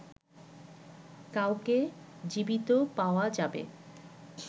কাউকে জীবিত পাওয়া যাবে